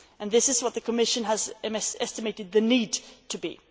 and this is what the Commission has estimated the need to be.